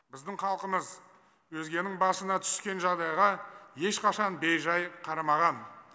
біздің халқымыз өзгенің басына түскен жағдайға ешқашан бейжәй қарамаған